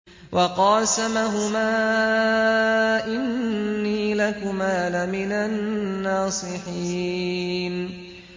وَقَاسَمَهُمَا إِنِّي لَكُمَا لَمِنَ النَّاصِحِينَ